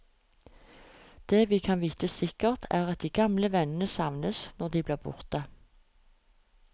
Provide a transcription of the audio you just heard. Det vi kan vite sikkert, er at de gamle vennene savnes når de blir borte.